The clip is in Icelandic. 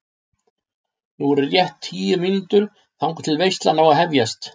Nú eru rétt um tíu mínútur þangað til veislan á að hefjast.